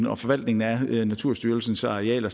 og forvaltningen af naturstyrelsens arealer